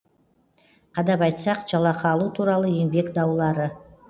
қадап айтсақ жалақы алу туралы еңбек даулары